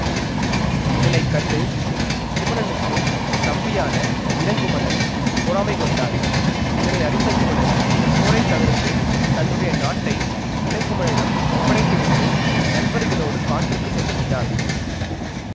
இதனை கண்டு குமணனுக்குத் தம்பியான இளங்குமணன் பொறாமைகொண்டான் இதனை அறிந்த குமணன் போரை தவிர்த்து தன்னுடைய நாட்டை இளங்குமணனிடம் ஒப்படைத்துவிட்டு நண்பர்களோடு காட்டிற்குச் சென்றுவிட்டான்